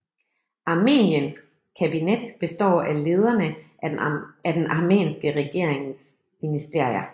Armeniens kabinet består af lederne af den armenske regeringens ministerier